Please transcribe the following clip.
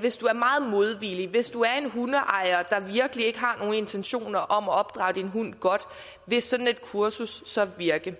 hvis du er meget modvillig hvis du er en hundeejer der virkelig ikke har nogen intentioner om at opdrage din hund godt vil sådan et kursus så virke